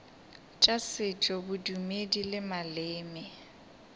tša setšo bodumedi le maleme